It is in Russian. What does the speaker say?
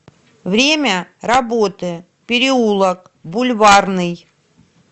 время работы переулок бульварный